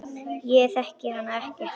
Ég þekki hana ekkert.